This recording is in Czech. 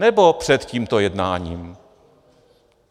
Nebo před tímto jednáním?